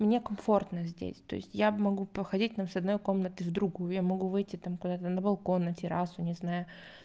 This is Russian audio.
мне комфортно здесь то есть я могу походить там с одной комнаты в другую я могу выйти там куда-то на балкон на террасу не знаю